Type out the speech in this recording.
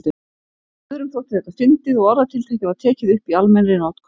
Öðrum þótti þetta fyndið og orðatiltækið var tekið upp í almennri notkun.